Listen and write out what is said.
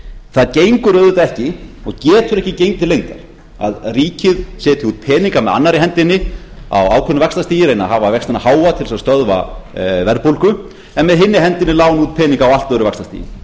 það gengur auðvitað ekki og getur ekki gengið til lengdar að ríkið setji út peninga með annarri hendinni á ákveðnu vaxtastigi reyni að hafa vextina háa til þess að stöðva verðbólgu en með hinni hendinni láni út peninga á allt öðru vaxtastigi